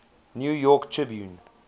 new york tribune